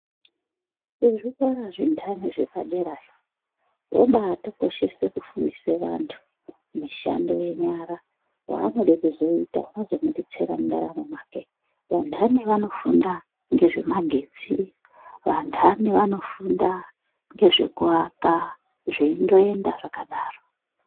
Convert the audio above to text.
Kuzvikora zvindani zvepadera yo zvoba tokoshese kufundisa antu mishando yenyara vaanode kuzoita zvinozo mubetsera mundaramo mwake. Vantani vanofunda ngezvemagetsi vantani vanofunda ngezvekuwaka zviindoenda zvakadaro.